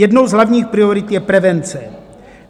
Jednou z hlavních priorit je prevence.